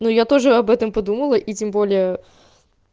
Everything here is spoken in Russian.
ну я тоже об этом подумала и тем более